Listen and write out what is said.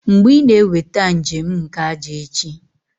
Mgbe ị na-eweta njem nke ájá echi?